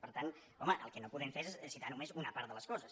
per tant home el que no podem fer és citar només una part de les coses